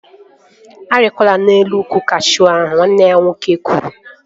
A rikwana elu ukwu kashuu ahụ! Nwanne ya nwoke kwuru